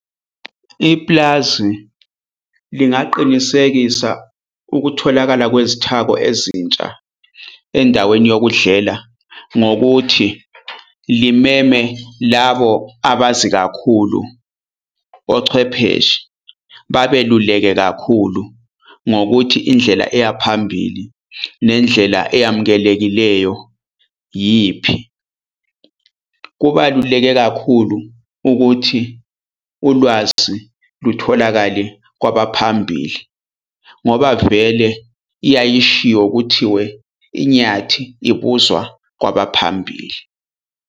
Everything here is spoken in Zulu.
Ipulazi lingaqinisekisa ukutholakala kwezithako ezintsha endaweni yokudlela ngokuthi limeme labo abazi kakhulu ochwepheshe babeluleke kakhulu ngokuthi indlela eya phambili nendlela eyamukelekileyo iyiphi. Kubaluleke kakhulu ukuthi ulwazi lutholakale kwabaphambili ngoba vele iyayishiwo kuthiwe inyathi ibuzwa kwabaphambili.